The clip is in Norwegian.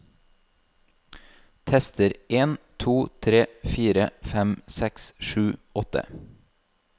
Tester en to tre fire fem seks sju åtte